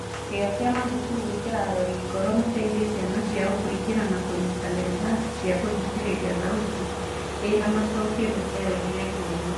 kĩyo kĩa mathukuru gwĩkĩra arori ngoro mateithie ciana ciao kũingira na kũnyitanĩra irathi cia gũthikĩrĩria thauti ĩna macokio nĩ ciarehire ngũrani.